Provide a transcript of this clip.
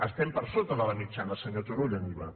estem per sota de la mitjana senyor turull en iva